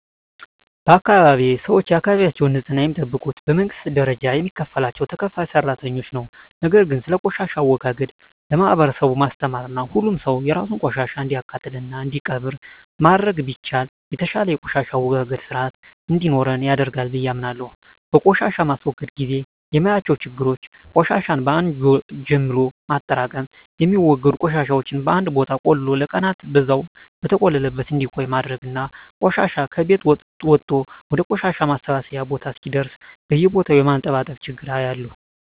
በአካባቢየ ሰወች የአካባቢያቸውን ንጽህና የሚጠብቁት በመንግስት ደረጃ የሚከፈላቸው ተከፋይ ሰራተኞች ነው። ነገር ግን ስለቆሻሻ አወጋገድ ለማህበረሰቡ ማስተማርና ሁሉም ሰው የራሱን ቆሻሻ እንዲያቃጥልና እንዲቀብር ማድረግ ቢቻል የተሻለ የቆሻሻ አወጋገድ ስርአት እንዲኖረን ያደርጋል ብየ አምናለሁ። በቆሻሻ ማስወገድ ግዜ የማያቸው ችግሮች ቆሻሻን በአን ጀምሎ ማጠራቅም፣ የሚወገዱ ቆሻሻወችን በአንድ ቦታ ቆልሎ ለቀናን በዛው በተቆለለበት እንዲቆይ ማድረግና ቆሻሻ ከቤት ወጦ ወደ ቆሻሻ ማሰባሰቢያ ቦታ እስከሚደርስ በየቦታው የማንጠባጠብ ችግር አያለሁ።